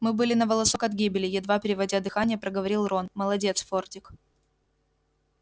мы были на волосок от гибели едва переводя дыхание проговорил рон молодец фордик